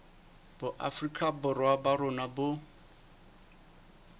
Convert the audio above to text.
boafrika borwa ba rona bo